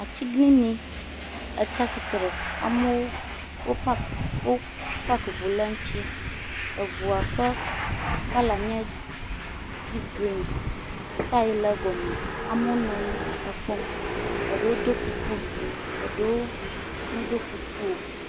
Atsiglinyi tsi atsitre. Amewo wo paki wo paki ŋu le eŋuti. Ŋu ƒe kɔla nye dipi grin, taya le egɔme, amewo nɔ anyi le kpɔm. Eɖewo do kuku, eɖewo medo kuku o.